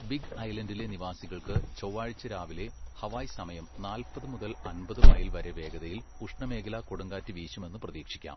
Big ഐലൻഡിലെ നിവാസികൾക്ക് ചൊവ്വാഴ്ച രാവിലെ ഹവായ് സമയം നാല്പത് മുതൽ അമ്പത് മൈൽ വരെ വേഗതയിൽ ഉഷ്ണമേഖലാ കൊടുങ്കാറ്റ് വീശുമെന്ന് പ്രതീക്ഷിക്കാം.